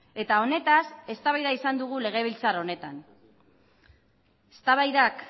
eta honetaz eztabaida izan dugu legebiltzar honetan eztabaidak